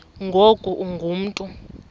ngoku ungu mntu